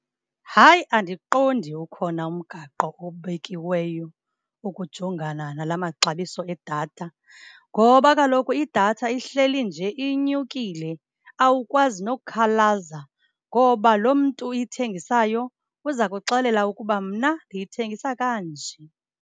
Hayi, andiqondi ukhona umgaqo obekiweyo ukujongana nala maxabiso edatha, ngoba kaloku idatha ihleli nje inyukile, awukwazi nokukhalaza ngoba loo mntu uyithengisayo uza kuxelela ukuba mna ndiyithengisa kanje.